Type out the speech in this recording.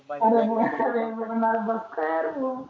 आरे